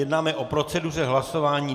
Jednáme o proceduře hlasování.